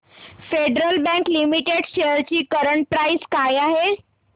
federal bank limited shares ची current price काय आहे